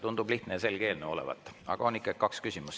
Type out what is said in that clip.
Tundub lihtne ja selge eelnõu olevat, aga ikkagi on kaks küsimust.